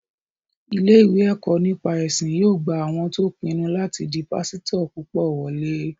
Ilé-ìwé ẹ̀kọ́ nípa ẹ̀sìn yóò gba àwọn tó pinnu láti di pásítọ̀ púpọ̀ wọlé